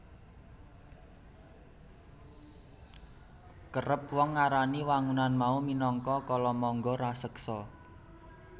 Kerep wong ngarani wangunan mau minangka kalamangga raseksa